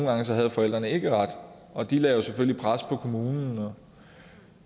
gange havde forældrene ikke ret og de lagde jo selvfølgelig et pres på kommunen